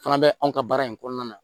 Fana bɛ anw ka baara in kɔnɔna na